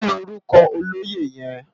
Kilórúkò ólóyé yèn?